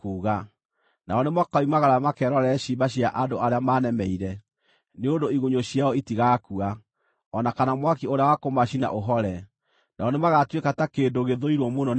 “Nao nĩmakoimagara makerorere ciimba cia andũ arĩa maanemeire; nĩ ũndũ igunyũ ciao itigakua, o na kana mwaki ũrĩa wa kũmacina ũhore, nao nĩmagatuĩka ta kĩndũ gĩthũirwo mũno nĩ andũ othe.”